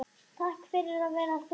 Takk fyrir að vera þú